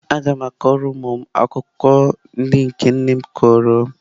Aga m akọrọ ụmụ m akụkọ ndị nke nne m kọrọ m.